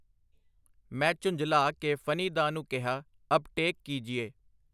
ਮੈਂ ਝੁੰਜਲਾ ਕੇ ਫਨੀ-ਦਾ ਨੂੰ ਕਿਹਾ ਅਬ ਟੇਕ ਕੀਜੀਏ.